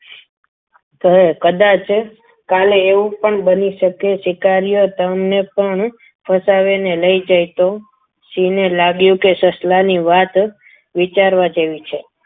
કહે કદાચ કાલે એવું પણ બની શકે કે શિકારીઓ તમને પણ ફસાવીને લઈ જાય તો સિંહને લાગ્યું કે સસલાની વાત વિચારવા જેવી છે.